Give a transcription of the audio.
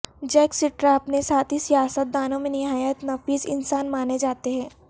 Jack Straw اپنے ساتھی سیاست دانوں میں نہایت نفیس انسان مانے جاتے ہیں